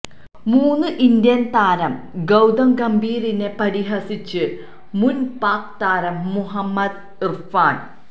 മുന് ഇന്ത്യന് താരം ഗൌതം ഗംഭീറിനെ പരിഹസിച്ച് മുന് പാക് താരം മുഹമ്മദ് ഇര്ഫാന്